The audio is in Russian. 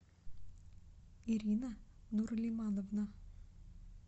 ирина нурлимановна